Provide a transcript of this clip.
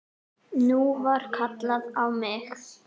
Nú var kallað á mig!